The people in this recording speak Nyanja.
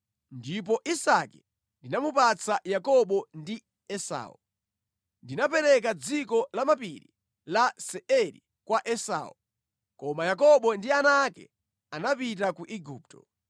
ndipo Isake ndinamupatsa Yakobo ndi Esau. Ndinapereka dziko la mapiri la Seiri kwa Esau, koma Yakobo ndi ana ake anapita ku Igupto.